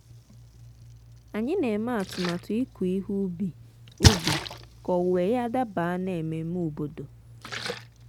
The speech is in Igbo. anyị na-eme atụmatụ ịkụ ihe ubi ubi ka owuwe ya daba n'ememe obodo.